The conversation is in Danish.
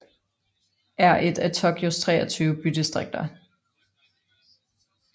er et af Tokyos 23 bydistrikter